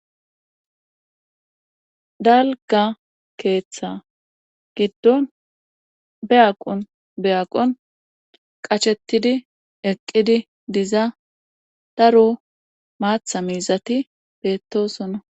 Dalga keeththa giddon beyaqon beyaqon qachettidi eqqidi diza daro maatha miizati beettosonna